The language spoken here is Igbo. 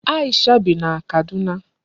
Aisha bi na Kaduna.